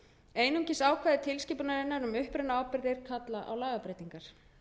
einungis ákvæði tilskipunarinnar um upprunaábyrgðir kalla á lagabreytingar